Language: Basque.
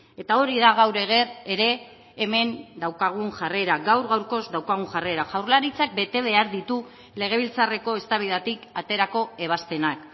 eta hori da gaur ere hemen daukagun jarrera gaur gaurkoz daukagun jarrera jaurlaritzak bete behar ditu legebiltzarreko eztabaidatik aterako ebazpenak